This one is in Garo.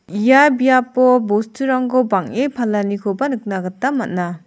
ia biapo bosturangko bang·e palanikoba nikna gita man·a.